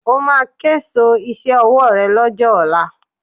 Ó máa késo iṣẹ́ ọwọ́ ré lọ́jọ́ ọ̀la